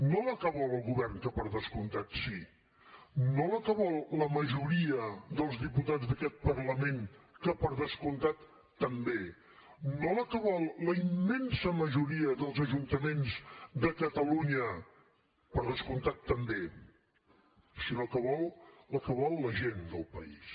no la que vol el govern que per descomptat sí no la que vol la majoria dels diputats d’aquest parlament que per descomptat també no la que vol la immensa majoria dels ajuntaments de catalunya per descomptat també sinó que vol la que vol la gent del país